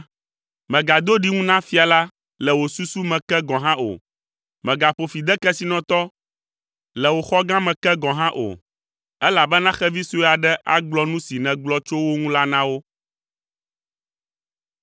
Mègado ɖiŋu na fia la le wò susu me ke gɔ̃ hã o; mègaƒo fi de kesinɔtɔ le wò xɔ gã me ke gɔ̃ hã o, elabena xevi sue aɖe agblɔ nu si nègblɔ tso wo ŋu la na wo.